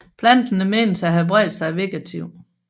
Planterne menes at have spredt sig vegetativt